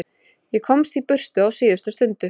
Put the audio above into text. Ég komst í burtu á síðustu stundu.